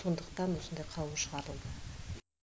сондықтан осындай қаулы шығарылды